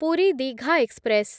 Puri Digha express